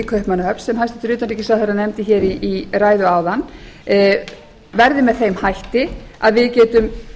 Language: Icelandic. kaupmannahöfn sem hæstvirtur utanríkisráðherra nefndi hér í ræðu áðan verði með þeim hætti að við getum